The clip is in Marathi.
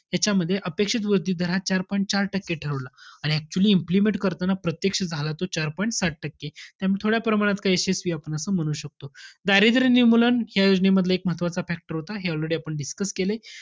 त्याच्यामध्ये अपेक्षित वृद्धी दर हा चार point चार टक्के ठरवला. आणि actually implement करताना प्रत्यक्ष झाला तो चार point सात टक्के. त्यामुळे थोड्याप्रमाणात काही यशस्वी आहे, आपण असं म्हणू शकतो. दारिद्र्य निर्मूलन या योजनेमधला, हा एक महत्वाचा factor होता. हे आपण already discuss केलंय.